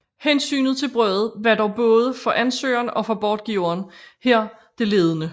Hensynet til brødet var dog både for ansøgeren og for bortgiveren her det ledende